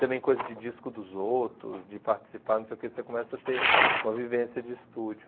Também coisas de disco dos outros, de participar, não sei o quê, você começa a ter uma vivência de estúdio.